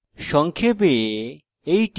সংক্ষেপে